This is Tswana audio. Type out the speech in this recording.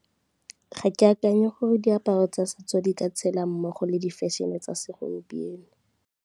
Ga ke akanya gore diaparo tsa setso di ka tshela mmogo le di-fashion-e tsa segompieno.